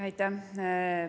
Aitäh!